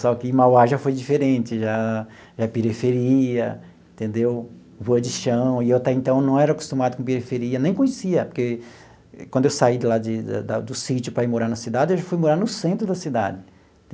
Só que Mauá já foi diferente, já já é periferia, entendeu, rua de chão, e eu até então não era acostumado com periferia, nem conhecia, porque quando eu saí de lá de da do sítio para ir morar na cidade, eu já fui morar no centro da cidade.